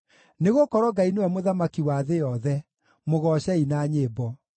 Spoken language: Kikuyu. Nĩgũkorwo Ngai nĩwe Mũthamaki wa thĩ yothe; mũgoocei na nyĩmbo.